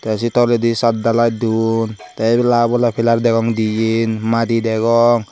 te sey toledi satdalai duon te ebela obola pilar degong diyen madi degong.